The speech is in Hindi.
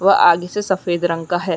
व आगे से सफ़ेद रंग का है।